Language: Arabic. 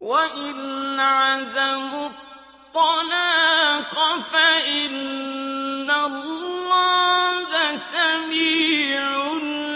وَإِنْ عَزَمُوا الطَّلَاقَ فَإِنَّ اللَّهَ سَمِيعٌ